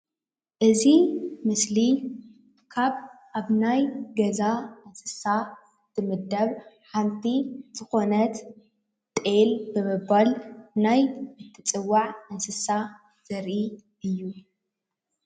እዚ ምስሊ ካብ ኣብ ናይ ገዛ እንስሳ እትምደብ ሓንቲ ዝኮነት ጤል ብምባል ናይ እትፅዋዕ እንስሳ ዘርኢ እዩ፡፡